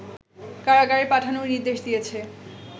কারাগারে পাঠানোর নির্দেশ দিয়েছে